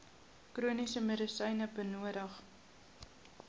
chroniese medisyne benodig